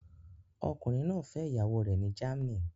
Ọkùnrin náà fẹ́ ìyàwó rẹ̀ ní Germany